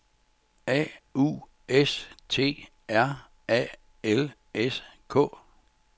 A U S T R A L S K